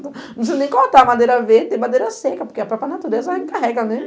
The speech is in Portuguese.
Não precisa nem cortar madeira verde, tem madeira seca, porque a própria natureza encarrega ne.